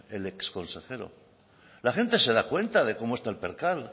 el ex consejero la gente se da cuenta de cómo está el percal